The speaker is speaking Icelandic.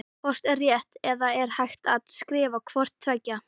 Hvort er rétt eða er hægt að skrifa hvort tveggja?